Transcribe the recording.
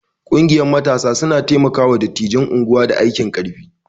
Ƙungiyar matasa suna taimaka wa dattijan unguwa da aikin ƙarfi